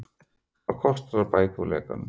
Hvað kostar að bæta úr lekanum?